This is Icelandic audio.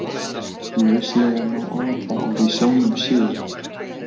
Lauslega má áætla að í sjónum séu